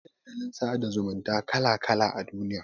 Akwai Dandalin sada zumunta kala kala a duniya